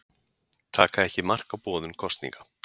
Taka ekki mark á boðun kosninga